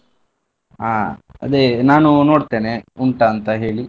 ಹಾ ಅದೇ ನಾನು ನೋಡ್ತೇನೆ ಉಂಟಾ ಅಂತ ಹೇಳಿ.